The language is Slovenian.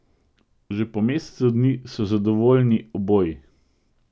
Že po mesecu dni so zadovoljni oboji!